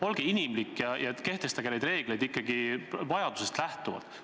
Olge inimlik ja järgige neid reegleid ikkagi vajadusest lähtuvalt!